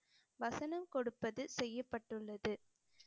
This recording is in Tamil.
வசனம் கொடுப்பது செய்யப்பட்டுள்ளது